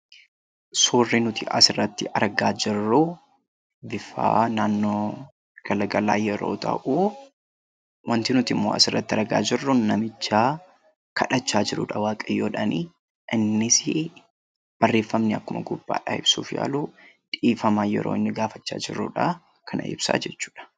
Suurri nuti asirratti argaa jirru bifa yeroo galgala yoo ta'u, wanti nutimmoo asirratti argaa jirru suuraa waaqayyoon kadhachaa jirudha. Innis barreeffamni akkuma gubbadhaa ibsuuf yaalu dhiifama yeroo inni gaafachaa jirudha kana ibsa jechuudha.